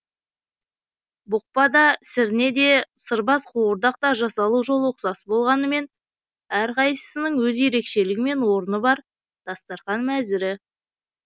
бұқпа да сірне де сырбаз қуырдақ та жасалу жолы ұқсас болғанымен әрқайсысының өз ерекшелігі мен орны бар дастарқан мәзірі